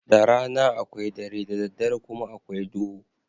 Da rana akwai dare, da daddare kuma akwai duhu.